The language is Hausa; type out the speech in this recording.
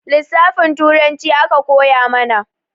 Lisafin turanci aka koya mana